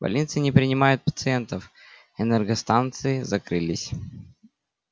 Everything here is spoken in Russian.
больницы не принимают пациентов энергостанции закрылись